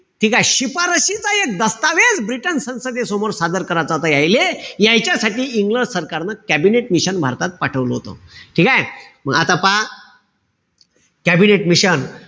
ठीकेय? शिफारसईचा एक दस्तावेज ब्रिटन संसदेसमोर सादर करायचा होता यायले. यायच्यासाठी इंग्रज सरकारनं कॅबिनेट मिशन भारतात पाठवलं होत. ठीकेय? म आता पहा, कॅबिनेट मिशन.